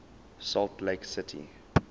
salt lake city